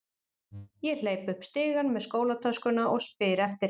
Ég hleyp upp stigann með skólatöskuna og spyr eftir